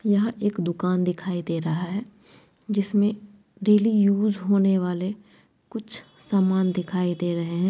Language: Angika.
यहाँ एक दुकान दिखाई दे रहा है जिसमे डेली यूज होने वाले कुछ समान दिखाई दे रहे है।